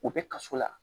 U bɛ kaso la